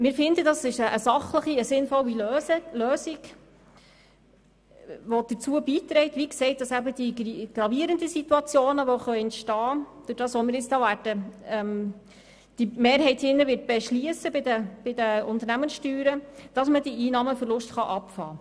Wir finden Lösung sachlich und sinnvoll, weil sie dazu beiträgt, die gravierenden, durch unsere Beschlüsse bei den Unternehmenssteuern entstehenden Situationen zu korrigieren.